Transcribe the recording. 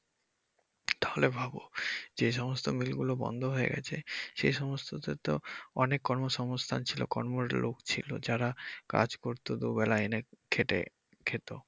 তাহলে ভাবো যে সমস্ত মিলগুলো বন্ধ হয়ে গেছে সেই সমস্ততে তো অনেক কর্মসংস্থান ছিলো কর্মের লোক ছিলো যারা কাজ করত দুবেলা এনে খেটে খেতো।